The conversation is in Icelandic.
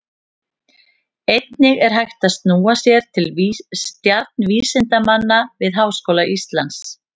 Einnig er hægt að snúa sér til stjarnvísindamanna við Háskóla Íslands.